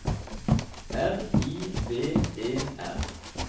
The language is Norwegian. R I V E R